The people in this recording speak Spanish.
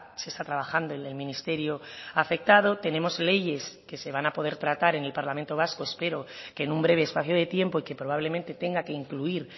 se está trabajando en el ministerio afectado tenemos leyes que se van a poder tratar en el parlamento vasco espero que en un breve espacio de tiempo y que probablemente tenga que incluir